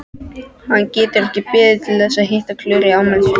Hann getur ekki beðið þess að hitta Klöru í afmælisveislunni!